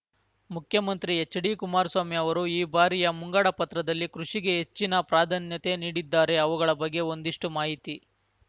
ಮುಖ್ಯಮಂತ್ರಿ ಹೆಚ್ಡಿ ಕುಮಾರಸ್ವಾಮಿ ಅವರು ಈ ಬಾರಿಯ ಮುಂಗಡ ಪತ್ರದಲ್ಲಿ ಕೃಷಿಗೆ ಹೆಚ್ಚಿನ ಪ್ರಾಧಾನ್ಯತೆ ನೀಡಿದ್ದಾರೆ ಅವುಗಳ ಬಗ್ಗೆ ಒಂದಿಷ್ಟು ಮಾಹಿತಿ